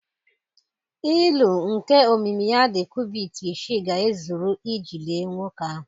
Ilu nke omimi ya dị cubit isii ga-ezuru iji lie nwoke ahụ.